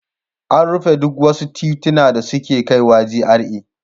An rufe duk wasu tituna da suke kaiwa GRA.